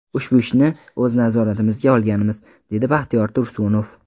Ushbu ishni o‘z nazoratimizga olganmiz”, dedi Baxtiyor Tursunov.